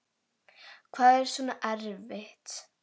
Hvað er svona erfitt?